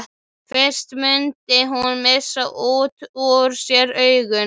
Fyrst mundi hún missa út úr sér augun.